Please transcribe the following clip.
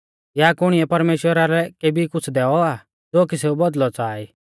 या कुणीऐ परमेश्‍वरा लै केबी कुछ़ दैऔ आ ज़ो कि सै बौदल़ौ च़ाहा ई